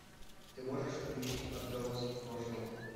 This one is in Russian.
ты можешь включить отголоски прошлого